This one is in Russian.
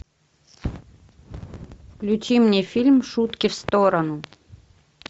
включи мне фильм шутки в сторону